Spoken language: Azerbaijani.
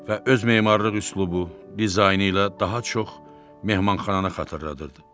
Və öz memarlıq üslubu, dizaynı ilə daha çox mehmanxananı xatırladırdı.